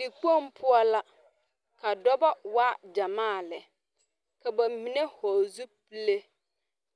Dikpoŋ poɔ la ka dɔba waa gyɛmaa lɛ ka ba mine vɔgle zupile